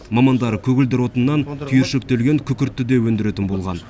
мамандар көгілдір отыннан түйіршіктелген күкіртті де өндіретін болған